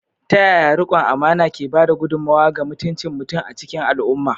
Ta yaya riƙon amana ke ba da gudummawa ga mutuncin mutum a cikin al’umma?